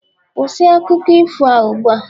kwụsị akụkọ ifo a ugbu a!